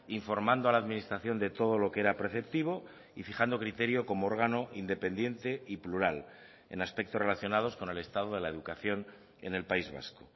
informando a la administración de todo lo que era preceptivo y fijando criterio como órgano independiente y plural en aspectos relacionados con el estado de la educación en el país vasco